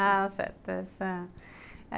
Ah, certo. Essa